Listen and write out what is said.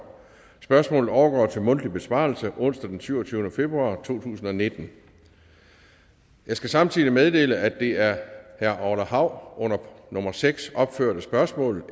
spørgsmålet overgår til mundtlig besvarelse onsdag den syvogtyvende februar to tusind og nitten jeg skal samtidig meddele at det er af herre orla hav under nummer seks opførte spørgsmål